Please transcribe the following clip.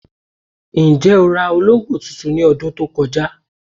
Njẹ́ o rà òlógbo tuntun ní ọṣẹ̀ tó kọ̀jà?